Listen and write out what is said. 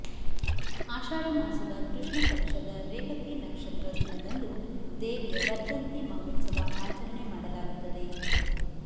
ಆಷಾಢ ಮಾಸದ ಕೃಷ್ಣ ಪಕ್ಷದ ರೇವತಿ ನಕ್ಷತ್ರ ದಿನದಂದು ದೇವಿಯ ವರ್ಧಂತಿ ಮಹೋತ್ಸವ ಆಚರಣೆ ಮಾಡಲಾಗುತ್ತದೆ